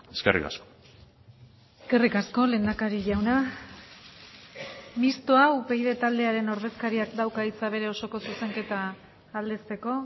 eskerrik asko eskerrik asko lehendakari jauna mistoa upyd taldearen ordezkariak dauka hitza bere osoko zuzenketa aldezteko